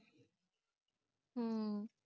ਹੁ